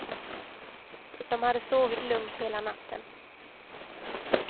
De hade sovit lugnt hela natten.